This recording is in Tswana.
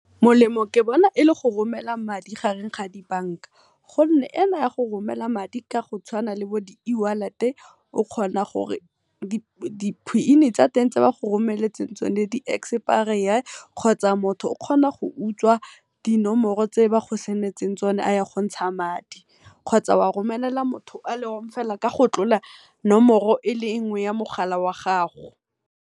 Molemo ke bona e le go romela madi gareng ga di bank-a gonne ena ya go romela madi ka go tshwana le bo di eWallet o kgona gore di pin tsa teng tse ba go rommeletseng tsone di expire, kgotsa motho o kgona go utswa dinomoro tse ba go send-etseng tsona gontsha madi kgotsa wa romelela motho fela ka go tlola nomoro e le nngwe ya mogala o a gago.